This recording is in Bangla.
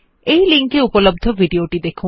এই লিঙ্ক এ উপলব্ধ ভিডিও টি দেখুন